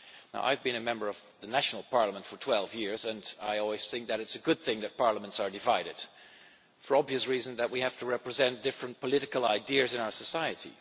Now, I have been a member of a national parliament for 12 years and I always think that it is a good thing that parliaments are divided, for the obvious reason that we have to represent different political ideas in our society.